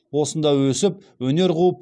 осында өсіп өнер қуып